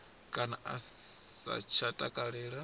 kana a sa tsha takalela